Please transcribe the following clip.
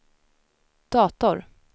dator